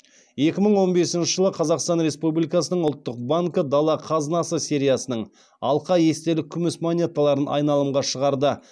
екі мың он бесінші жылы қазақстан республикасының ұлттық банкі дала қазынасы сериясының алқа естелік күміс монеталарын айналымға шығарды